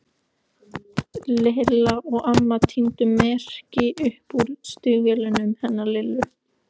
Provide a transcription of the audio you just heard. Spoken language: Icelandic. Lilla og amma tíndu merkin upp úr stígvélunum hennar Lillu.